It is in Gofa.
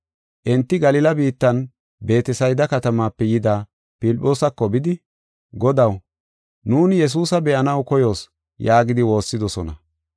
Enti Galila biittan Beetesayda katamaape yida Filphoosako bidi, “Godaw, nuuni Yesuusa be7anaw koyoos” yaagidi woossidosona.